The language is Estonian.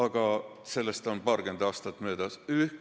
Ja sellest on paarkümmend aastat möödas.